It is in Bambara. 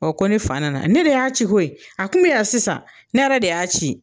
Ɔ ko ni fa nana ne de y'a ci koyi ye, a kun bɛ yan sisan, ne yɛrɛ de y'a ci.